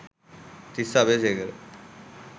Tissa Abeysekara